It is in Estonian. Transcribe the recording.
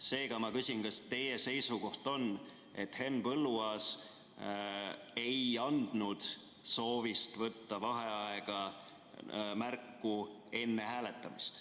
Seega, ma küsin, kas teie seisukoht on, et Henn Põlluaas ei andnud soovist võtta vaheaega märku enne hääletamist.